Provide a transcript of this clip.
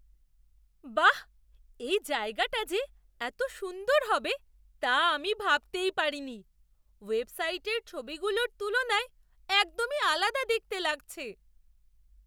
বাঃ! এই জায়গাটা যে এত সুন্দর হবে তা আমি ভাবতেই পারিনি। ওয়েবসাইটের ছবিগুলোর তুলনায় একদমই আলাদা দেখতে লাগছে!